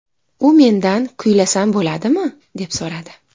U mendan kuylasam bo‘ladimi, deb so‘radi.